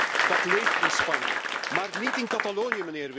Ja, dat leeft in Spanje, maar niet in Catalonië.